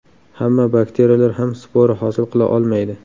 Hamma bakteriyalar ham spora hosil qila olmaydi.